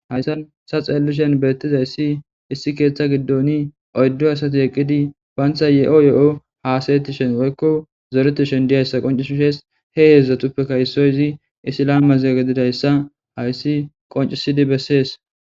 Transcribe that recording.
Hayisan ta xelishin betizayisi issi ketha gidon oyidu asati eqidi bantha yeo yeo hasayishe woyiko zoretishe dizayisa qonc ses he hedzdzatuppeka isoyi musilime gidizayisa besees